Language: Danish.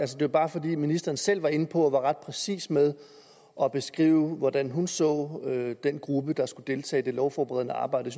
det er bare fordi ministeren selv var inde på at være ret præcis med at beskrive hvordan hun så den gruppe der skulle deltage i det lovforberedende arbejde